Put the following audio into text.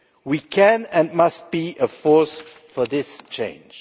We can and must be a force for this change.